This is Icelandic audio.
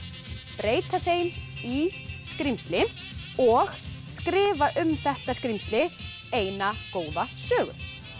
breyta þeim í skrímsli og skrifa um þetta skrímsli eina góða sögu